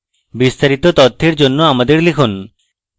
বিস্তারিত তথ্যের জন্য আমাদের লিখুন